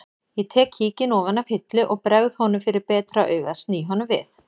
Ég tek kíkinn ofan af hillu og bregð honum fyrir betra augað sný honum við